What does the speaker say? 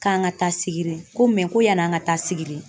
K'an ka taa sigiri ko ko yani an ka taa sigiri